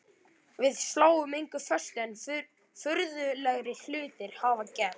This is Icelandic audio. Við sláum engu föstu en furðulegri hlutir hafa gerst.